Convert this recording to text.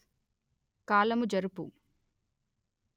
కాలము జరుపు